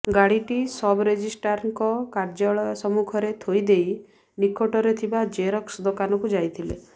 ଗାଡିଟି ସବରେଜିଷ୍ଟାରଙ୍କ କାର୍ଯ୍ୟାଳୟ ସମ୍ମୁଖରେ ଥୋଇଦେଇ ନିକଟରେ ଥିବା ଜେରକ୍ସ ଦୋକାନକୁ ଯାଇଥିଲେ